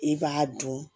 I b'a dun